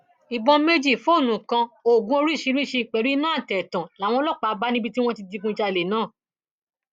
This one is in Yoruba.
ìbọn méjì fóònù kan oògùn oríṣiríṣiì pẹlú iná àtẹtàn làwọn ọlọpàá bá níbi tí wọn ti digunjalè náà